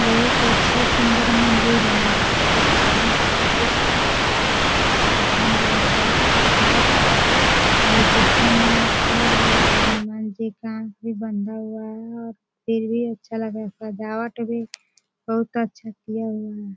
बहुत अच्छा सुन्दर मंदिर है मुझे हनुमान जी का चित्र बहुत बढियाँ पंसंद आया बहुत खुबसुरत है यह देखने में अच्छा लग रहा है हनुमान जी का आँख भी बंधा हुआ है और फिर भी अच्छा लग रहा है सजावट भी बहुत अच्छा किया हुआ है।